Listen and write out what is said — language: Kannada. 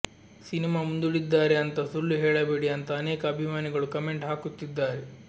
ಸಿನಿಮಾ ಮುಂದೂಡಿದ್ದಾರೆ ಅಂತ ಸುಳ್ಳು ಹೇಳಬೇಡಿ ಅಂತ ಅನೇಕ ಅಭಿಮಾನಿಗಳು ಕಮೆಂಟ್ ಹಾಕುತ್ತಿದ್ದಾರೆ